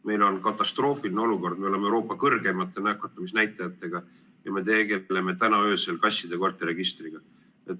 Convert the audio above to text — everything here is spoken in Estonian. Meil on katastroofiline olukord, me oleme Euroopa kõrgeimate nakatumisnäitajatega – ja me tegeleme täna öösel kasside ja koerte registriga.